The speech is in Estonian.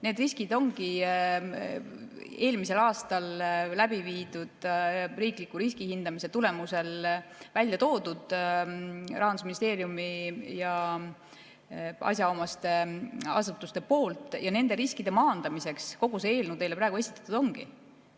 Need riskid ongi eelmisel aastal läbiviidud riikliku riskihindamise tulemusel välja toonud Rahandusministeerium ja asjaomased asutused ja nende riskide maandamiseks kogu see eelnõu teile praegu esitatud ongi.